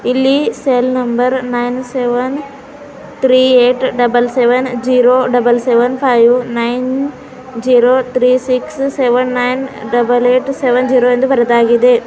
ಇಲ್ಲಿ cell number nine seven three eight double seven zero double seven five nine zero three six seven nine double eight seven zero ಎಂದು ಬರೆದಾಗಿದೆ.